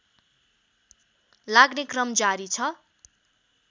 लाग्ने क्रम जारी छ